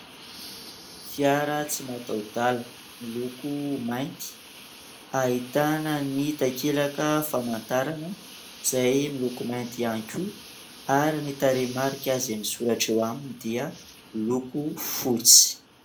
Fiara tsy mataho-dalana, miloko mainty. Ahitana ny takelaka famantarana izay miloko mainty ihany koa. Ary ny tarehi-marika izay misoratra eo aminy dia miloko fotsy.